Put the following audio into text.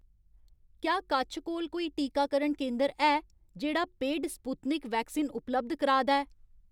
क्या कच्छ कोल कोई टीकाकरण केंदर है जेह्‌ड़ा पेड स्पुत्निक वैक्सीन उपलब्ध कराऽ दा ऐ?